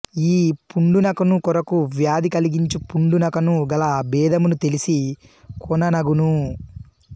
ఈ పుండునకును కొరుకు వ్యాధి కలిగించు పుండు నకును గల భేదమును తెలిసి కొన నగును